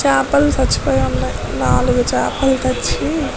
చేపలు సచిపోయి ఉన్నాయి నాలుగు చేపలు చచ్చి --